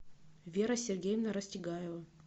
вера сергеевна растегаева